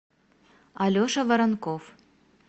алеша воронков